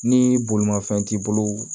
Ni bolimanfɛn t'i bolo